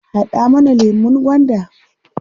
Haɗa mana lemun gwanda.